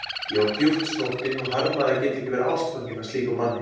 Ég var djúpt snortin og harmaði að geta ekki verið ástfangin af slíkum manni.